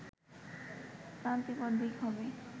ক্লান্তিকর দিক হবে